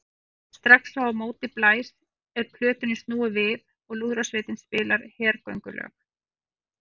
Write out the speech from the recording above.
Strax og á móti blæs er plötunni snúið við og lúðrasveitin spilar hergöngulög.